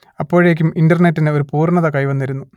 അപ്പോഴേക്കും ഇന്റർനെറ്റിന് ഒരു പൂർണ്ണത കൈവന്നിരുന്നു